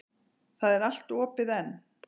Það er allt opið enn.